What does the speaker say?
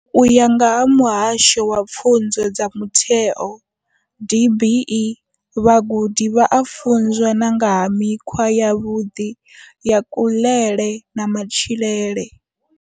U ya nga vha muhasho wa pfunzo dza Mutheo DBE, vhagudi vha a funzwa na nga ha mikhwa yavhuḓi ya kuḽele na matshilele.